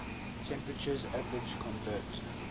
temperatures average convert